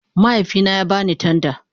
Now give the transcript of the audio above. Mahaifina ya ba ni tanda